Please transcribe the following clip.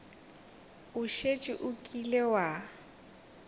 o šetše o kile wa